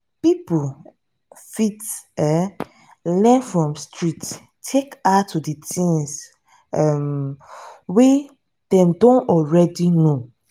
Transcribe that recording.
pipo fit um learn from street take add to di things um wey dem don already know